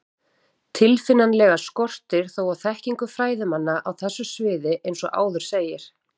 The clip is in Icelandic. Tilfinnanlega skortir þó á þekkingu fræðimanna á þessu sviði eins og áður segir.